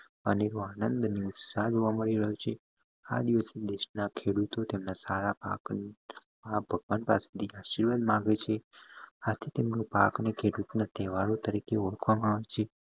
આનંદ અને ઉત્સાહ જવા મળી રહીયો છે આ દિવસે દેશ ના ખેડૂતોહ તેમના સારા પાકની ભગવાન આશીર્વાદ મંગાવીએ છીએ આ તેમનું પાક ને ખેડૂત ના તહેવાર તરીકે ઉખવામાં આવે છે